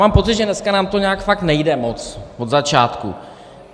Mám pocit, že dneska nám to nějak fakt nejde moc, od začátku.